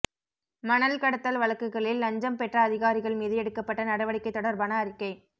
மணல் கடத்தல் வழக்குகளில் லஞ்சம் பெற்ற அதிகாரிகள் மீது எடுக்கப்பட்ட நடவடிக்கை தொடர்பான அறிக்கை